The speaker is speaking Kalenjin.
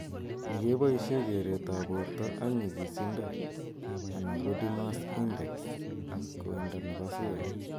Ni keboishe kereet ap borto ak nyigisindo ana body mass index ak koindo nepo suet.